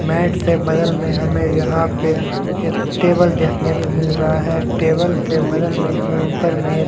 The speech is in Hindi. मैट के बगल में हमें यहां पे टेबल देखने को मिल रहा है टेबल के बगल में हमें ऊपर में--